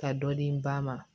Ka dɔ di ba ma